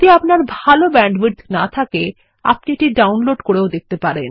আপনার যদি ভাল ব্যান্ডউইডথ না থাকে আপনি এটি ডাউনলোড করেও দেখতে পারেন